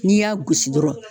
N'i y'a gosi dɔrɔn